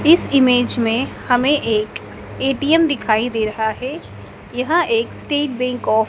इस इमेज़ में हमें एक ए_टी_एम दिखाई दे रहा है यह एक स्टेट बैंक ऑफ --